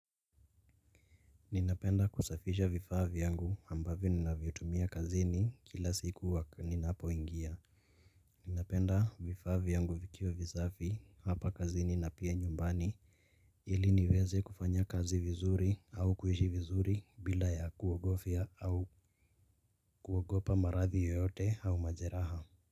Ninapenda kusafisha vifaa vyangu ambavyo ninavitumia kazini kila siku ninapoingia. Ninapenda vifaa vyangu vikiwa visafi hapa kazini na pia nyumbani. Ili niweze kufanya kazi vizuri au kuishi vizuri bila ya kuogofia au kuogopa maradhi yoyote au majeraha.